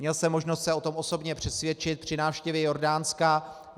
Měl jsem možnost se o tom osobně přesvědčit při návštěvě Jordánska.